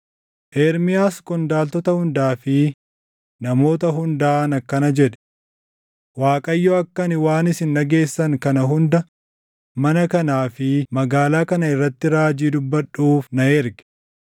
Ermiyaas qondaaltota hundaa fi namoota hundaan akkana jedhe; “ Waaqayyo akka ani waan isin dhageessan kana hunda mana kanaa fi magaalaa kana irratti raajii dubbadhuuf na erge.